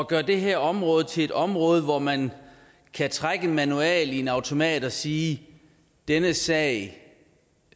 gøre det her område til et område hvor man kan trække en manuel i en automat og sige denne sag